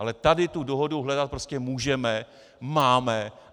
Ale tady tu dohodu hledat prostě můžeme, máme.